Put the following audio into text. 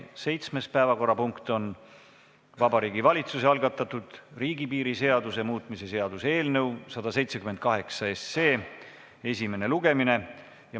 Seitsmes päevakorrapunkt on Vabariigi Valitsuse algatatud riigipiiri seaduse muutmise seaduse eelnõu 178 esimene lugemine.